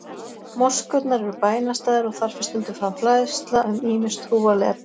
Moskurnar eru bænastaðir og þar fer stundum fram fræðsla um ýmis trúarleg efni.